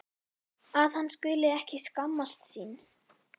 Að hann skuli ekki skammast sín.